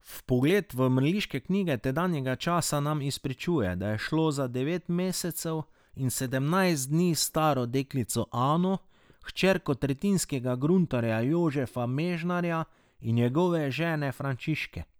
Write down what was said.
Vpogled v mrliške knjige tedanjega časa nam izpričuje, da je šlo za devet mesecev in sedemnajst dni staro deklico Ano, hčerko tretjinskega gruntarja Jožefa Mežnarja in njegove žene Frančiške.